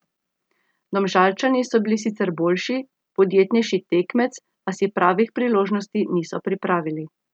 Domžalčani so bili sicer boljši, podjetnejši tekmec, a si pravih priložnosti niso pripravili.